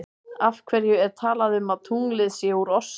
Af hverju er talað um að tunglið sé úr osti?